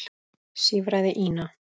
sífraði Ína.